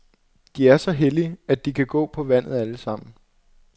De er så hellige, at de kan gå på vandet alle sammen.